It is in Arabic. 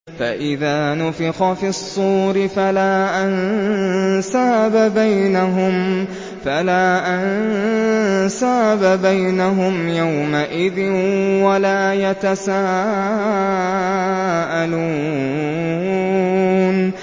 فَإِذَا نُفِخَ فِي الصُّورِ فَلَا أَنسَابَ بَيْنَهُمْ يَوْمَئِذٍ وَلَا يَتَسَاءَلُونَ